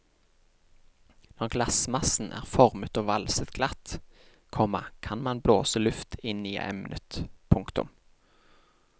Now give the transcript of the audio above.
Når glassmassen er formet og valset glatt, komma kan man blåse luft inn i emnet. punktum